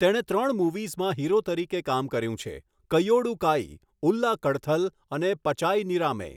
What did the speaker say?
તેણે ત્રણ મૂવીઝમાં હીરો તરીકે કામ કર્યું છેઃ 'કૈયોડુ કાઈ', 'ઉલ્લા કડથલ' અને 'પચાઈ નિરામે'.